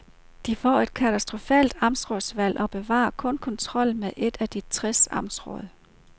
De får et katastrofalt amtsrådsvalg og bevarer kun kontrollen med et af de tres amtsråd.